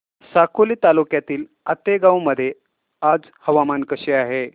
साकोली तालुक्यातील आतेगाव मध्ये आज हवामान कसे आहे